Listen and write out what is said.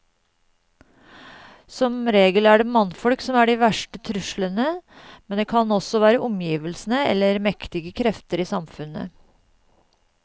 Som regel er det mannfolk som er de verste truslene, men det kan også være omgivelsene eller mektige krefter i samfunnet.